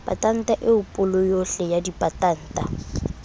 patanta eo paloyohle ya dipatanta